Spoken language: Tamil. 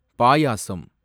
பாயாசம்